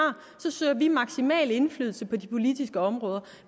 søger vi maksimal indflydelse på de politiske områder